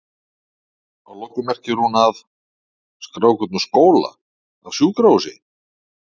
Að lokum merkir hún að?skrá einhvern úr skóla, af sjúkrahúsi?